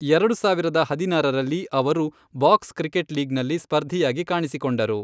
ಎರಡು ಸಾವಿರದ ಹದಿನಾರರಲ್ಲಿ, ಅವರು ಬಾಕ್ಸ್ ಕ್ರಿಕೆಟ್ ಲೀಗ್ನಲ್ಲಿ ಸ್ಪರ್ಧಿಯಾಗಿ ಕಾಣಿಸಿಕೊಂಡರು.